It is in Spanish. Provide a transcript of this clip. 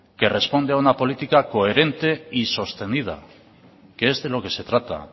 que responde a una política coherente y sostenida que es de lo que se trata